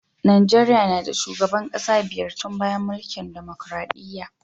Najeriya na da shugaban kasa biyar tun bayan mulkin dimokuradiyya.